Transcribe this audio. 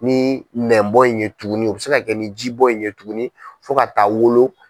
Ni nɛbɔ in ye tugunni, u bɛ se ka kɛ ni ji bɔ in ye tugunni, fo ka taa wolo.